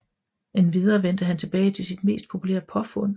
Endvidere vendte han tilbage til sit mest populære påfund